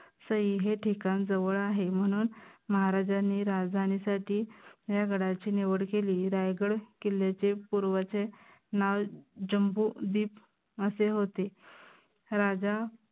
सई हे ठिकान जवळ आहे. म्हणून महाराजांनी राजधानीसाठी या गडाची निवड केली. रायगड किल्ल्याचे पूर्वचे नाव जम्बो दीप असे होते. राजा